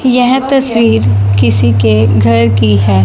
यह तस्वीर किसी के घर की है।